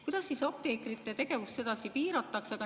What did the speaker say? Kuidas siis apteekrite tegevust edasi piiratakse?